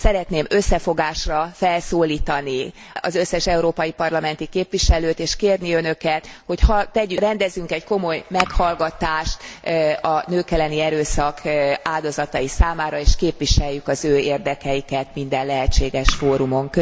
Szeretném összefogásra felszólítani az összes európai parlamenti képviselőt, és kérni Önöket, hogy rendezzünk egy komoly meghallgatást a nők elleni erőszak áldozatai számára és képviseljük az érdekeiket minden lehetséges fórumon.